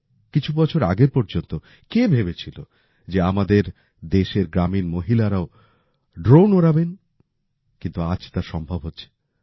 কিছু বছর আগে পর্যন্ত কে ভেবেছিল যে আমাদের দেশের গ্রামীণ মহিলারাও ড্রোন ওড়াবেন কিন্তু আজ তা সম্ভব হচ্ছে